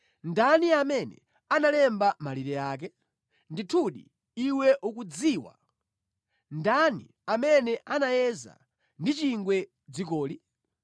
Ndani amene analemba malire ake? Ndithudi iwe ukudziwa! Ndani amene anayeza ndi chingwe dzikoli?